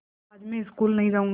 आज मैं स्कूल नहीं जाऊँगी